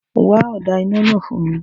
Wá ọ̀dà náà fún mi